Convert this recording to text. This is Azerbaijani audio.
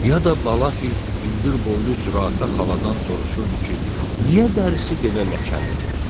Ya da balafil hündürboylu zürafə xaladan soruşurdu ki, niyə dərisi belə ləkəlidir.